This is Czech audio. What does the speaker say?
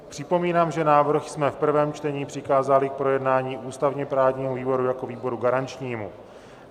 Připomínám, že návrh jsme v prvém čtení přikázali k projednání ústavně-právnímu výboru jako výboru garančnímu.